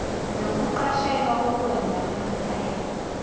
nokuqashelwa kokwenza kwemifela